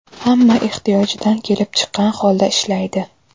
Hamma ehtiyojidan kelib chiqqan holda ishlaydi”.